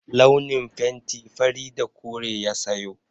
Launin fenti fari da kore ya sayo.